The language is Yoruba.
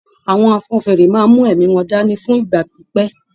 Àwọn afọ́nfèére máa n mú èémí wọn dání fún ìgbà pípẹ́.